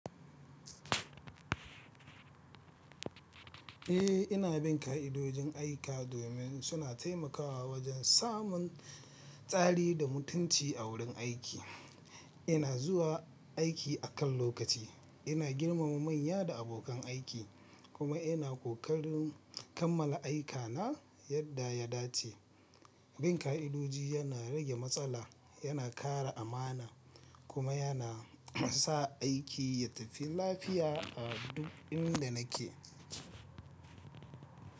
Eh, ina bin ka'idojin aiki domin suna taimakawa wajen samun tsari da mutunci a wurin aiki. Ina zuwa aiki a kan lokaci, ina girmama manya da abokan aiki, kuma ina kokarin kammala aikana yadda ya dace. Bin ka'idoji yana rage matsala, yana kara amana, kuma yana sa aiki ya tafi lafiya a duk inda nake.